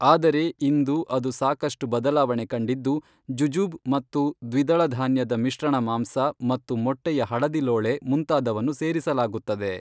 ಆದರೆ ಇಂದು ಅದು ಸಾಕಷ್ಟು ಬದಲಾವಣೆ ಕಂಡಿದ್ದು ಜುಜೂಬ್ ಮತ್ತು ದ್ವಿದಳ ಧಾನ್ಯದ ಮಿಶ್ರಣ ಮಾಂಸ ಮತ್ತು ಮೊಟ್ಟೆಯ ಹಳದಿಲೋಳೆ ಮುಂತಾದವನ್ನು ಸೇರಿಸಲಾಗುತ್ತದೆ